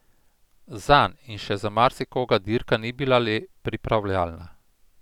Zanj in še za marsikoga dirka ni bila le pripravljalna.